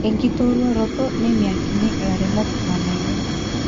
enkitoruaroto ,nemiakini illairemok irnganayio .